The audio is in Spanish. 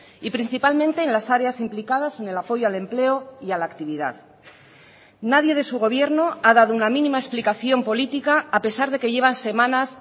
y principalmente en las áreas implicadas en el apoyo al empleo y a la actividad nadie de su gobierno ha dado una mínima explicación política a pesar de que llevan semanas